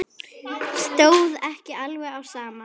Stóð ekki alveg á sama.